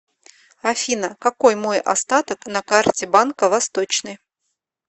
афина какой мой остаток на карте банка восточный